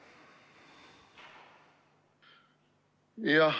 Jah.